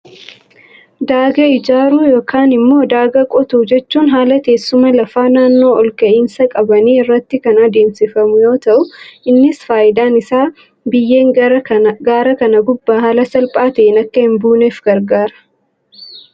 Daagaa ijaaruu yookaan immoo daagaa qotuu jechuun, haala teessuma lafaa naannoo olka'iinsa qabanii irratti kan adeemsifamu yoo ta'u, innis fayidaan isaa biyyeen gaara kana gubbaa haala salphaa ta'een akka hin badneef gargaara.